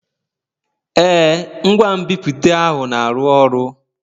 Ee, ngwa nbipute ahụ na-arụ ọrụ.